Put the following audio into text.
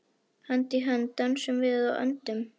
Hönd í hönd dönsum við og öndum.